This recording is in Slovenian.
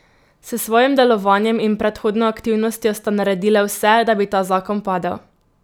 S svojim delovanjem in predhodno aktivnostjo sta naredile vse, da bi ta zakon padel...